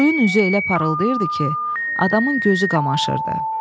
Suyun üzü elə parıldayırdı ki, adamın gözü qamaşırdı.